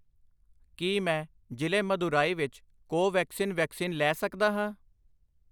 ਕੀ ਮੈਂ ਜ਼ਿਲ੍ਹੇ ਮਦੁਰਾਈ ਵਿੱਚ ਕੋਵੈਕਸਿਨ ਵੈਕਸੀਨ ਲੈ ਸਕਦਾ ਹਾਂ?